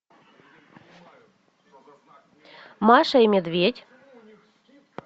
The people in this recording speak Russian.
маша и медведь